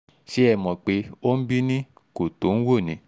ṣé ẹ mọ̀ pé ońbí-ní kò tó-òǹwò-ní